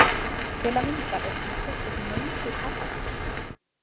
Til að mynda eru til sérstök möngukaffihús.